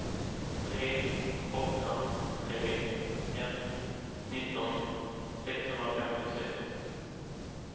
tre åtta tre ett nitton sexhundrafemtiosex